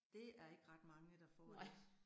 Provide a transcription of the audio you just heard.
Det er ikke ret mange, der får det